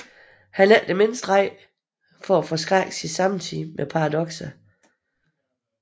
Han er ikke det mindste bange for at forskrække sin samtid med paradokser